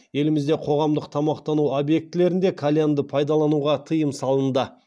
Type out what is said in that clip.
елімізде қоғамдық тамақтану объектілерінде кальянды пайдалануға тыйым салынды